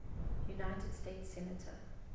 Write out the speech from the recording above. united states senator